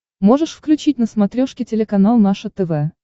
можешь включить на смотрешке телеканал наше тв